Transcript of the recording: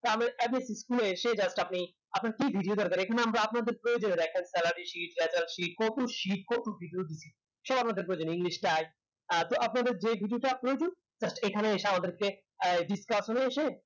গ্রামের school এ এসে just আপনি আপনার কি video দরকার এখানে আমরা আপনারদের প্রয়োজনীয় একটা salary sheet, geather sheet কত শিক্ষক video দিচ্ছি সব আপনাদের প্রয়োজনে english আহ তো আপনাদের যেই video টা প্রয়োজন just এখানে এসে আমাদেরকে discustion এ এসে